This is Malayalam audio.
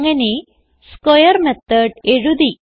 അങ്ങനെ സ്ക്വയർ മെത്തോട് എഴുതി